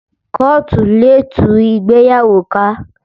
Kóòtù lè tú ìgbéyàwó ká